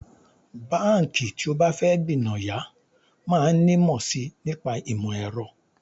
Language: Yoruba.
Báǹkì tí ó bá fẹ́ gbìnàyá máa nímọ̀ sí i nípa ìmọ̀ ẹ̀rọ